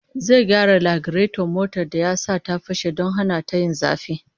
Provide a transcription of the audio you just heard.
Zai gyara lagireton motar da ya fashe don hana ta yin zafi